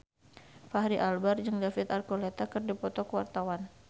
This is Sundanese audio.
Fachri Albar jeung David Archuletta keur dipoto ku wartawan